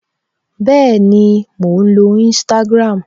Bẹẹni, mò ń lo Instagram